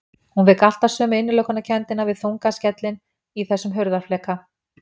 Hún fékk alltaf sömu innilokunarkenndina við þungan skellinn í þessum hurðarfleka.